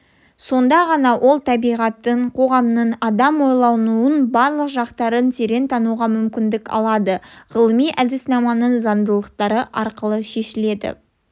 сонда ғана ол табиғаттың қоғамның адам ойлауының барлық жақтарын терең тануға мүмкіндік алады ғылыми әдіснаманың заңдылықтары арқылы шешіледі